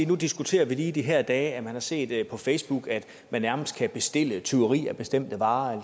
nu diskuterer vi lige i de her dage at man har set på facebook at man nærmest kan bestille tyveri af bestemte varer og